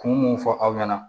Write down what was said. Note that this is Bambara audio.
Kun mun fɔ aw ɲɛna